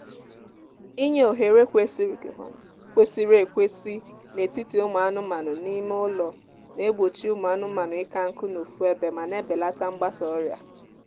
inye ohere kwesịrị kwesịrị ekwesị n'etiti ụmụ anụmanụ n'ime ụlọ na-egbochi ụmụ anụmaanụ ịka nkụ n'ofu ebe ma na-ebelata gbasa ọrịa